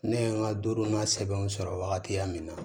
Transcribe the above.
Ne ye n ka duurunan sɛbɛnw sɔrɔ wagati ya min na